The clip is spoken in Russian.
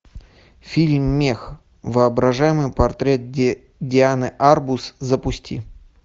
фильм мех воображаемый портрет дианы арбус запусти